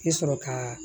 I sɔrɔ kaa